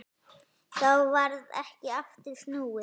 Þá varð ekki aftur snúið.